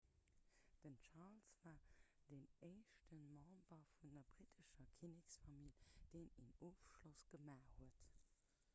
den charles war den éischte member vun der brittescher kinneksfamill deen en ofschloss gemaach huet